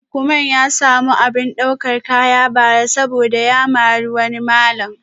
Lukman ya samu abin daukar kaya bara saboda ya mari wani malam